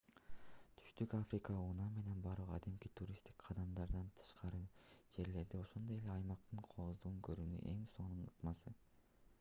түштүк африкага унаа менен баруу кадимки туристтик каттамдардан тышкары жерлерди ошондой эле аймактын кооздугун көрүүнүн эң сонун ыкмасы